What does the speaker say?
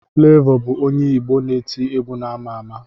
Flevọ bụ onye Igbo na-eti egwu ama ama.